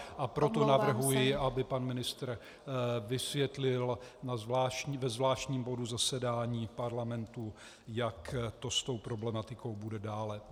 A proto navrhuji, aby pan ministr vysvětlil ve zvláštním bodu zasedání parlamentu, jak to s tou problematikou bude dále.